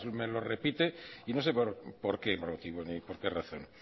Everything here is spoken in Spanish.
me lo repite y no sé por qué motivo ni por qué razón